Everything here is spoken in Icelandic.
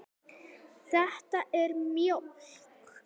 Þetta er mjólk.